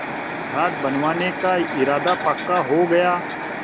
घाट बनवाने का इरादा पक्का हो गया